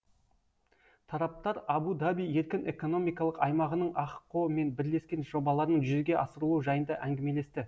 тараптар абу даби еркін экономикалық аймағының ахқо мен бірлескен жобаларының жүзеге асырылуы жайында әңгімелесті